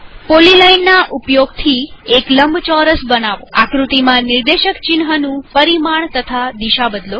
પોલીલાઈનના ઉપયોગ થી એક લંબચોરસ બનાવોઆકૃતિમાં નિર્દેશક ચિન્હનું પરિમાણ અને દિશા બદલો